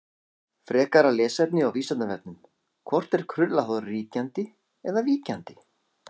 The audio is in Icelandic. Frekara lesefni á Vísindavefnum: Hvort er krullað hár ríkjandi eða víkjandi?